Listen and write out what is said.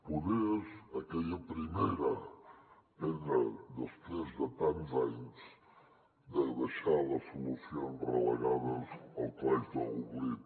poder és aquella primera pedra després de tants anys de deixar les solucions relegades al calaix de l’oblit